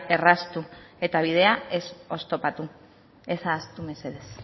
erraztu eta bidea ez oztopatu ez ahaztu mesedez